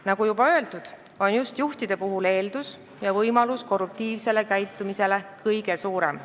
Nagu juba öeldud, on just juhtide puhul eeldus ja võimalus, et nad korruptiivselt käituvad, kõige suurem.